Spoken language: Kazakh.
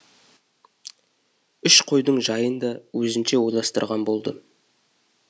үш қойдың жайын да өзінше ойластырған болды